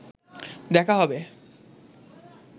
দেখা হবে